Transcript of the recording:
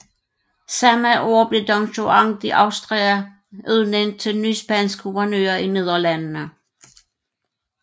Samme år blev Don Juan de Austria udnævnt til ny spansk guvernør i Nederlandene